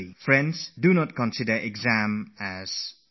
Friends, don't look at exams as a game of numbers